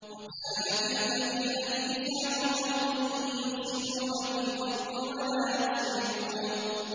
وَكَانَ فِي الْمَدِينَةِ تِسْعَةُ رَهْطٍ يُفْسِدُونَ فِي الْأَرْضِ وَلَا يُصْلِحُونَ